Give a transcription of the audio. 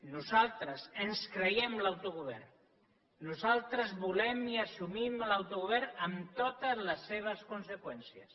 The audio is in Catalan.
nosaltres ens creiem l’autogovern nosaltres volem i assumim l’autogovern amb totes les seves conseqüències